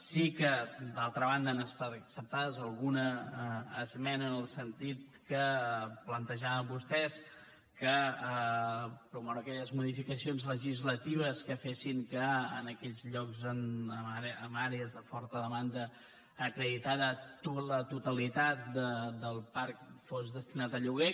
sí que d’altra banda ha estat acceptada alguna esmena en el sentit que plantejaven vostès promoure aquelles modificacions legislatives que fessin que en aquells llocs en àrees de forta demanda acreditada la totalitat del parc fos destinat a lloguer